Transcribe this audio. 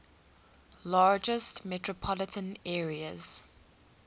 largest metropolitan areas